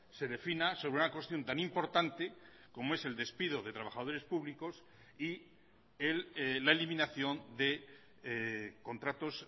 se defina sobre una cuestión tan importante como es el despido de trabajadores públicos y la eliminación de contratos